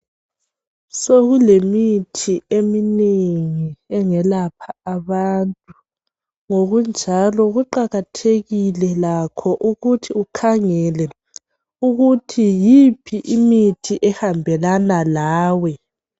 Sokulemithi eminengi engelapha abantu, ngokunjalo kuqakathekile lakho ukuthi ukhangele ukuthi yiphi imithi ehambelana lawe.